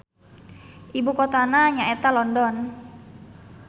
Ibu kotana nya eta London.